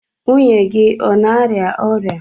Nwunye gị ọ na-arịa ọrịa?